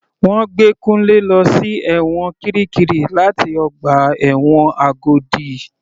Wọ́n gbé Kunle lọ sí ẹ̀wọ̀n kirikiri láti ọgbà ẹ̀wọ̀n Agodi.